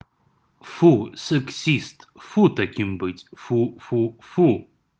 фу сексист фу таким быть фу-фу-фу